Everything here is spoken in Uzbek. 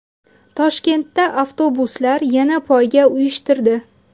Toshkentda avtobuslar yana poyga uyushtirdi.